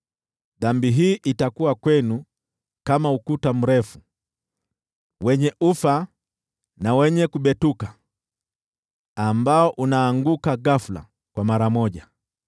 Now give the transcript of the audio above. dhambi hii itakuwa kwenu kama ukuta mrefu, wenye ufa na wenye kubetuka, ambao unaanguka ghafula, mara moja.